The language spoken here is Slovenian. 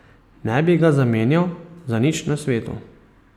Ne bi ga zamenjal za nič na svetu.